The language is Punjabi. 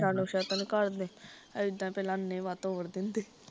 ਚਲੋ ਸ਼ਗਲ ਘਰਦੇ, ਏਦਾਂ ਈ ਪਹਿਲਾਂ ਅਨੇਵਾਹ ਤੋਰ ਦਿੰਦੇ